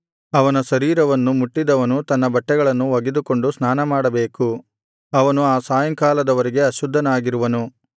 ಅವನ ಶರೀರವನ್ನು ಮುಟ್ಟಿದವನು ತನ್ನ ಬಟ್ಟೆಗಳನ್ನು ಒಗೆದುಕೊಂಡು ಸ್ನಾನಮಾಡಬೇಕು ಅವನು ಆ ಸಾಯಂಕಾಲದ ವರೆಗೆ ಅಶುದ್ಧನಾಗಿರುವನು